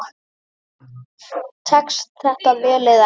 Tekst þetta vel eða ekki?